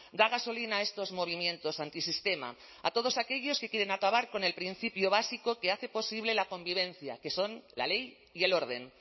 da gasolina a estos movimientos antisistema a todos aquellos que quieren acabar con el principio básico que hace posible la convivencia que son la ley y el orden